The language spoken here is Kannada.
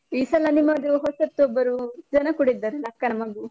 ಈ ಸಲ ನಿಮ್ಮದು ಹೊಸತ್ತೊಬ್ಬರು ಜನ ಕೂಡ ಇದ್ದಾರಲ್ಲ, ಅಕ್ಕನ ಮಗು.